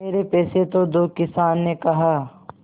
मेरे पैसे तो दो किसान ने कहा